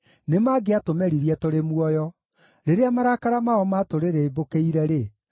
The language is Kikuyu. nĩmangĩatũmeririe tũrĩ muoyo; rĩrĩa marakara mao maatũrĩrĩmbũkĩire-rĩ,